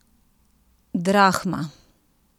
Drahma?